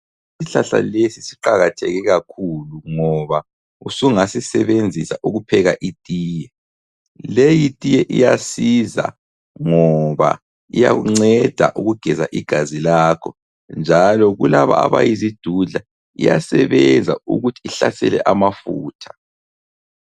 Isihlahla lesi siqakatheke kakhulu ngoba usungasisebenzisa ukupheka itiye, leyi tiye iyasiza ngoba iyakunceda ukugeza igazi lakho njalo kulaba abayizidudla iyasebenza ukuthi ihlasele amafutha.